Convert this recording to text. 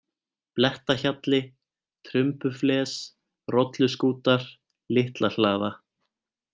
Blettahjalli, Trumbufles, Rolluskútar, Litlahlaða